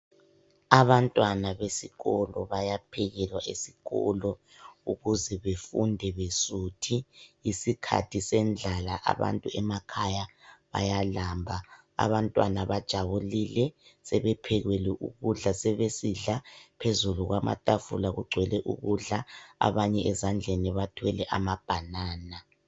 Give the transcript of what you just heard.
Abantwana besikolo bayaphekelwa esikolo ukuze befunde besuthi, isikhathi sendlala abantu emakhaya bayalamba. Abantwana bajabulile sebephekelwe ukudla sebesidla, phezulu kwamatafula kugcwele ukudla, abanye ezandleni bathwele ama banana.